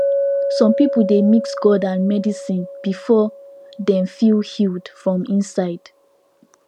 some people dey mix god and medicine before dem feel healed from inside